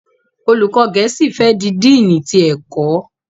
Olùkó gèésì fè di Dínni tí ẹkọ.